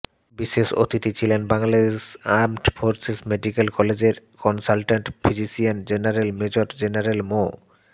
বিশেষ অতিথি ছিলেন বাংলাদেশ আর্মড ফোর্সেস মেডিক্যাল কলেজের consultant physician general major general মো